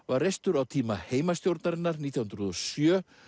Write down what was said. var reistur á tíma heimastjórnarinnar nítján hundruð og sjö